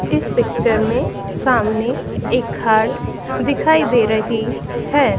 इस पिक्चर में सामने एक घाट दिखाई दे रही है।